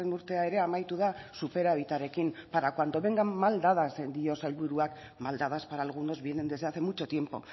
urtea ere amaitu da superabitarekin para cuando vengan mal dadas dio sailburuak mal dadas para algunos vienen desde hace mucho tiempo